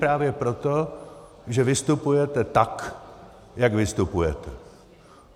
Právě proto, že vystupujete tak, jak vystupujete.